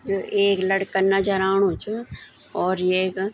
ये एक लड़का नजर आणु च और येक।